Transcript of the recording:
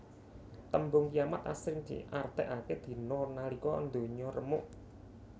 Tembung kiamat asring diartèkaké dina nalika ndonya remuk